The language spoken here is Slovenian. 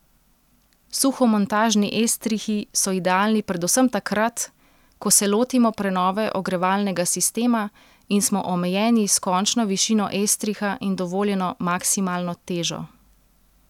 Suhomontažni estrihi so idealni predvsem takrat, ko so lotimo prenove ogrevalnega sistema in smo omejeni s končno višino estriha in dovoljeno maksimalno težo.